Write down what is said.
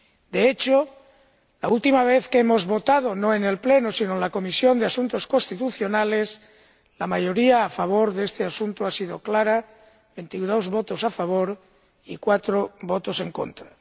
De hecho, la última vez que votamos, no en el Pleno sino en la Comisión de Asuntos Constitucionales, la mayoría a favor de este asunto fue clara 22 votos a favor y 4 votos en contra.